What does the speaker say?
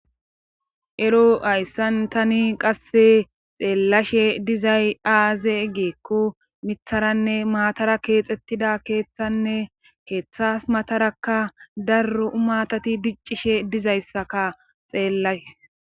Ero hayssan tani qasse xeellashe dizay aaze geekko mitharanne maatara keexettida keeththanne keeththas matarakka darro umatati diccishe dizayssaka xeellays